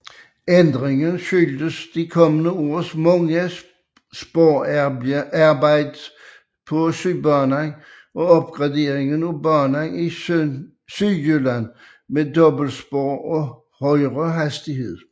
Ændringen skyldes de kommende års mange sporarbejder på Sydbanen og opgraderinger af banen i Sydjylland med dobbeltspor og højere hastighed